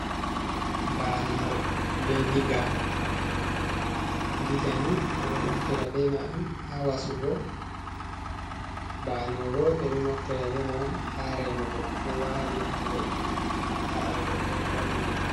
Baanowo, be diga, diga ni ɓe ɗo naftira ɓe mai on haa wasugo, baanowo bo ɓe ɗo naftira be mai on haa remugo. Ɗo waali haa leddi, ndaa paɗal goɗɗo ɗo wangi.